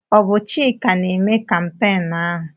Ọ bụ Chika na-eme kampeenụ́ ahụ?